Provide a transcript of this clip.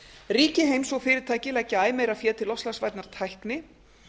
ríki heims og fyrirtæki leggja æ meira fé til loftslagsvænnar tækni